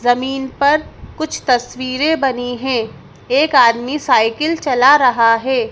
जमीन पर कुछ तस्वीरें बनी हैं एक आदमी साइकिल चला रहा हैं।